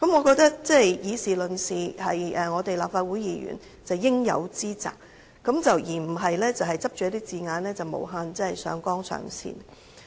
我認為以事論事是立法會議員應有之責，而不應執着一些字眼，無限上綱上線。